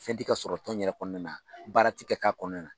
Fɛn ti ka sɔrɔ tɔn in yɛrɛ kɔnɔna na baara ti ka k'a kɔnɔnna na